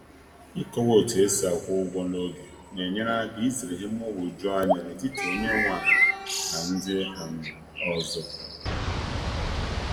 Ịkọwa otu esi akwụ ụgwọ n'oge na-enyere aka izere ihe mgbagwoju anya n’etiti onye nwe ala na ndị um ọzọ